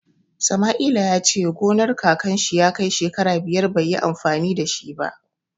Samaila ya ce gonar kakan shi ya kai shekara biyar bai yi amfani da shi ba.